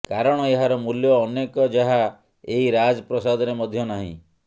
କାରଣ ଏହାର ମୂଲ୍ୟ ଅନେକ ଯାହା ଏହି ରାଜ ପ୍ରାସାଦରେ ମଧ୍ୟ ନାହିଁ